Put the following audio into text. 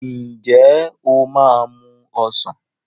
Ǹjẹ́ o máa mu ọsàn?